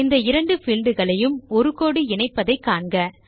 இந்த இரண்டு பீல்ட் களையும் ஒரு கோடு இணைப்பதை காண்க